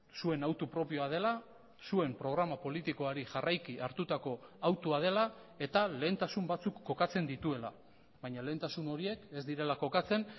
zuen hautu propioa dela zuen programa politikoari jarraiki hartutako hautua dela eta lehentasun batzuk kokatzen dituela baina lehentasun horiek ez direla kokatzen